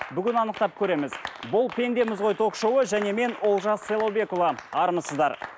бүгін анықтап көреміз бұл пендеміз ғой ток шоуы және мен олжас сайлаубекұлы армысыздар